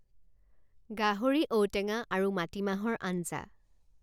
গাহৰি ঔ টেঙা আৰু মাটিমাহৰ আঞ্জা